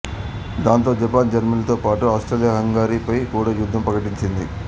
దాంతో జపాన్ జర్మనీతో పాటు ఆస్ట్రియాహంగరీపై కూడా యుద్ధం ప్రకటించింది